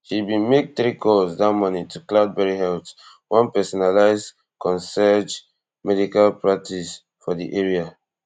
she bin make three calls dat morning to cloudberry health one personalized concierge medical practice for di area